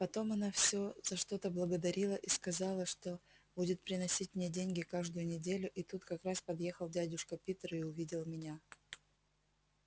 потом она все за что-то благодарила и сказала что будет приносить мне деньги каждую неделю и тут как раз подъехал дядюшка питер и увидел меня